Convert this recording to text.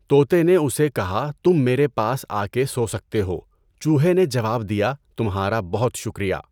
طوطے نے اُسے کہا تم میرے پاس آکے سو سکتے ہو، چوہے نے جواب دیا، تمہارا بہت شکریہ۔